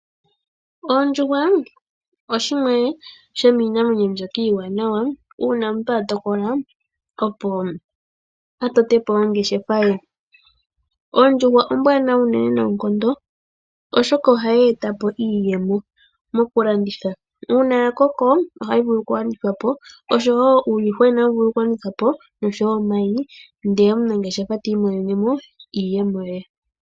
Ondjuhwa oshimwe shomiinamwenyo mbyoka iiwaanawa uuna omuntu a tokolo opo a tote po ongeshefa ye. Ondjuhwa ombwaanawa unene noonkondo oshoka ohayi e ta po iiyemo mokulanditha. Uuna ya koko ohayi vulu oku landithwa po oshowo uuyuhwena ohawu vulu oku landithwa po noshowo omayi ndele omunangeshefa ti imonene mo iiyemo ye.